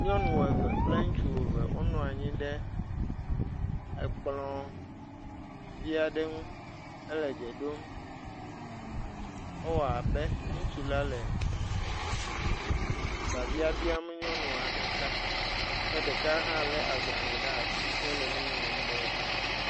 nyɔnu eve kple ŋutsu eve wó nɔnyi ɖe kplɔ̃ viaɖe ŋu hele dze ɖom ewɔabe ŋutsu la le babia biam nyɔnua ɖeka ke ɖeka hã le agbalē ɖa'si hele nuŋlɔm ɖe eme